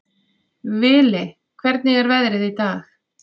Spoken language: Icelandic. Vili, hvernig er veðrið í dag?